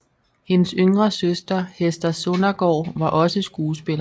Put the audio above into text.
Hendes yngre søster Hester Sondergaard var også skuespiller